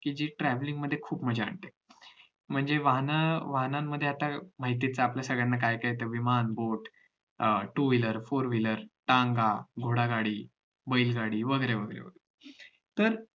कि जी travelling मध्ये खुप मज्जा आणते म्हणजे वाहन वाहनामध्ये आता माहित आहेच आपल्या सगळ्यांना काय काय येत विमान boat अं two wheelerfour wheeler टांगा, घोडागाडी, बैलगाडी वगैरे वगैरे तर